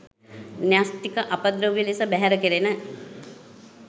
න්‍යෂ්ටික අපද්‍රව්‍ය ලෙස බැහැර කෙරෙන